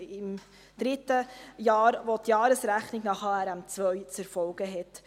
Es ist das dritte Jahr, in dem die Jahresrechnung nach HRM2 zu erfolgen hat.